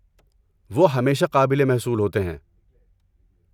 وہ ہمیشہ قابل محصول ہوتے ہیں۔